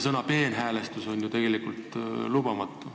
Sõna "peenhäälestus" ei ole ju tegelikult lubatav.